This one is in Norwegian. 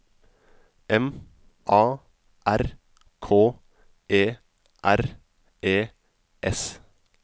M A R K E R E S